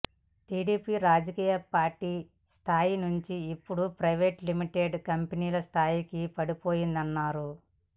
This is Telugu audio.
టీడీపీ రాజకీయ పార్టీ స్థాయి నుంచి ఇప్పుడు ప్రైవేట్ లిమిటెడ్ కంపెనీ స్థాయికి పడిపోయిందన్నారు